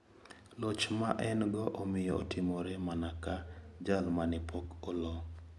Loch ma en go omiyo otimore mana ka jal mane pok olo.